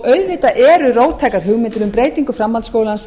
auðvitað eru róttækar hugmyndir um breytingu framhaldsskólans